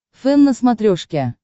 фэн на смотрешке